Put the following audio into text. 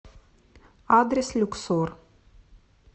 адрес люксор